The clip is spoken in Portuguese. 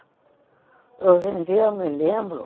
Hoje em dia eu me lembro.